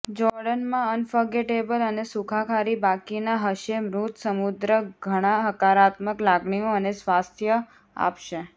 Jordan માં unforgettable અને સુખાકારી બાકીના હશે મૃત સમુદ્ર ઘણા હકારાત્મક લાગણીઓ અને સ્વાસ્થ્ય આપશે